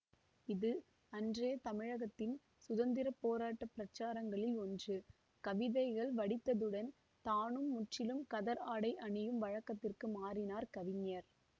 இது அன்றைய தமிழகத்தின் சுதந்திர போராட்ட பிரச்சாரங்களில் ஒன்று கவிதைகள் வடித்ததுடன் தானும் முற்றிலும் கதர் ஆடை அணியும் வழக்கத்திற்கு மாறினார் கவிஞர்